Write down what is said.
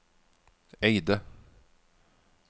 Eide